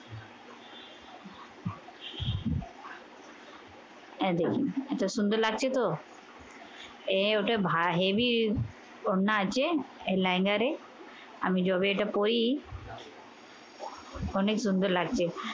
এই দেখুন। এটা সুন্দর লাগছে তো? এ ওটা ভা heavy ওড়না আছে। এই liner এ। আমি যবে এটা পরি অনেক সুন্দর লাগছে।